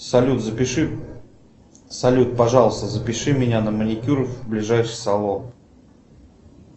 салют запиши салют пожалуйста запиши меня на маникюр в ближайший салон